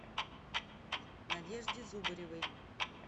надежде зубаревой